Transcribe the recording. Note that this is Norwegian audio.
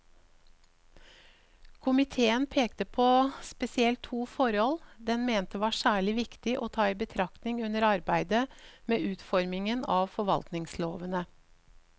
Komiteen pekte på spesielt to forhold den mente var særlig viktig å ta i betraktning under arbeidet med utformingen av forvaltningslovene.